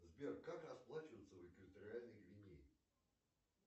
сбер как расплачиваться в экваториальной гвинее